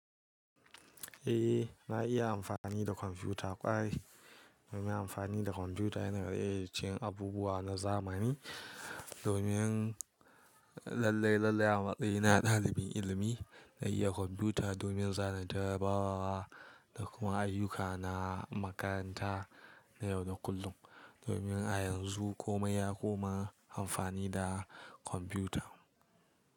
Eh, na iya amfani da kwamfuta. Ƙwarai ina amfani da kwamfuta yana daga cikin abubuwa na zamani. Domin lallai lallai a matsayina na ɗalibin ilimi, na yi iya kwamfuta domin zanen tarabawa da kuma ayyuka na makaranta na yau da kullum. Domin a yanzu komai ya koma amfani da kwamfuta.